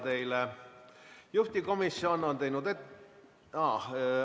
Teile küsimusi ei ole.